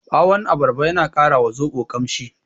Ɓawon abarba yana ƙara wa zoɓo ƙamshi.